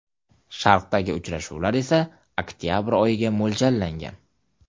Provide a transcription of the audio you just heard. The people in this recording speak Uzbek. Sharqdagi uchrashuvlar esa oktabr oyiga mo‘ljallangan.